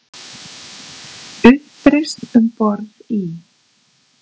Uppreisn um borð í